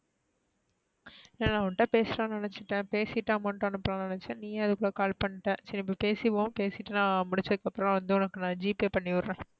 இல்ல இல்ல உண்ட பேசலன்னு நினச்சிடேன் பேசிட்டு amount அனுபலன்னு நினைச்சேன். நீயே அதுக்குள்ள call பண்ட. சரி இப்ப பேசிருவோம் பேசிட்டு நா முடிச்சதுக்கு அப்பறம் வந்து gpay பண்ணி விடுறேன்.